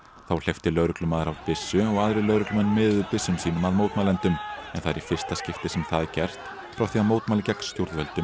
þá hleypti lögreglumaður af byssu og aðrir lögreglumenn miðuðu byssum sínum að mótmælendum en það er í fyrsta skipti sem það er gert frá því að mótmæli gegn stjórnvöldum